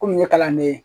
Komi n ye kalanden ye